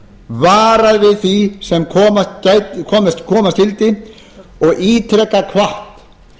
varað við því sem koma skyldi og ítrekað hvatt